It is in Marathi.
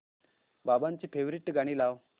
बाबांची फेवरिट गाणी लाव